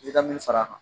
I ka min far'a kan